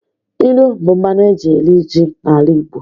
Ilu bụ mmanụ eji eri ji n'ala Igbo